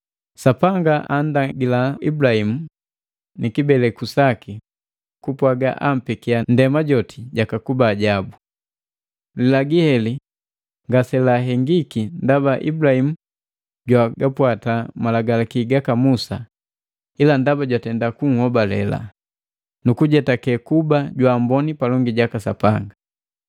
Sapanga andagila Ibulahimu nikibeleku saki kupwaga ampekia ndema joti jakakuba jabu. Lilagii heli ngaselahengiki ndaba Ibulahimu jwagapwata malagalaki gaka Musa, ila ndaba jwatenda kuhobalela, nukujetake kuba jwaamboni palongi jaka Sapanga.